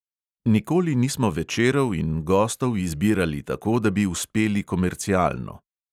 Nikoli nismo večerov in gostov izbirali tako, da bi uspeli komercialno.